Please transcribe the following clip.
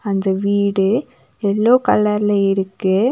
இந்த வீடு எல்லோ கலர்ல இருக்கு.